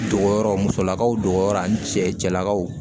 Dogoyɔrɔ musolakaw dogoyɔrɔ ani cɛlakaw